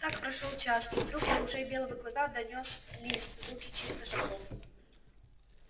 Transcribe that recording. так прошёл час и вдруг до ушей белого клыка донёс лист звуки чьих то шагов